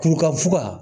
Kuru ka fuga